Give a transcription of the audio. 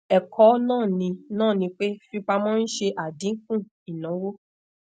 ẹkọ naa ni naa ni pe fifipamọ nse adinku inawo